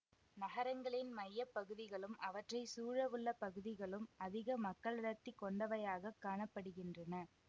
நகரங்களின் மைய பகுதிகளும் அவற்றை சூழவுள்ள பகுதிகளும் அதிக மக்களடர்த்தி கொண்டவையாகக் காண படுகின்றன